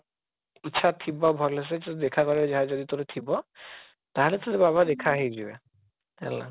ଇଚ୍ଛା ଥିବ ଭଲ ସେ ତ ଦେଖା କରିବାକୁ ଯାହା ଯଦି ତୋର ଥିବ ତାହାଲେ ତତେ ବାବା ଦେଖା ହେଇ ଯିବେ ହେଲା